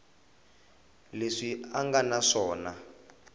leswi a nga na swona